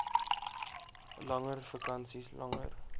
langer vakansies langer